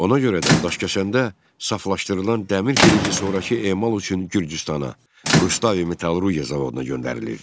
Ona görə də Daşkəsəndə saflaşdırılan dəmir filizi sonrakı emal üçün Gürcüstana, Rustavi metallurgiya zavoduna göndərilirdi.